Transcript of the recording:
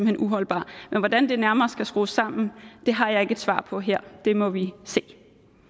hen uholdbar hvordan det nærmere skal skrues sammen har jeg ikke et svar på her det må vi se